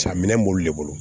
Ca minɛn b'olu de bolo